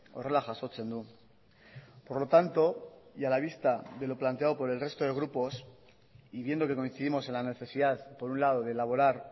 horrela jasotzen du por lo tanto y a la vista de lo planteado por el resto de gruposy viendo que coincidimos en la necesidad por un lado de elaborar